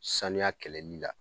Sanuya kɛlɛli la